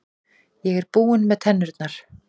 Ég er búinn með tennurnar.